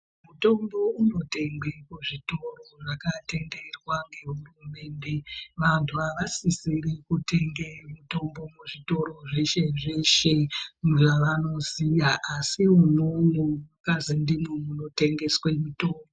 Mitombo inotengwa kuzvitoro zvakatenderwa nehurumende vantu havasisiri kutenga mutombo muzvitoro veshe zveshe zvavanoziva asi mune munikazi ndimwo munotengesa mutombo.